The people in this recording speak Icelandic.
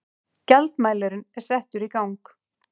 Gjaldmælirinn settur í gang.